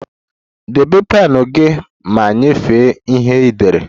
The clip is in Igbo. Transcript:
Debe pen gị ma nyefee ihe ị dere!